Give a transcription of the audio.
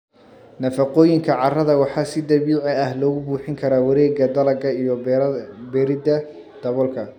Nafaqooyinka carrada waxaa si dabiici ah loogu buuxin karaa wareegga dalagga iyo beeridda daboolka.